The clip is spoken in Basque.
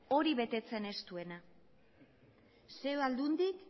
hori betetzen ez duena zein aldundik